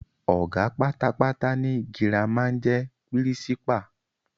Ọ̀gá pátápátá ní Girama n jẹ pírísípà